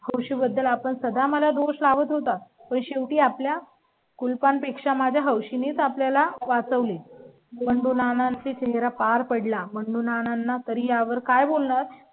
खुशी बद्दल आपण सध्या मला दुसरा वत होता. पण शेवटी आपल्या कुलपान पेक्षा माझ्या हवशी नेच आपल्या ला वाचवले. बंडू नाना ते तेरा पार पडला म्हणून नानां यावर काय बोलणार?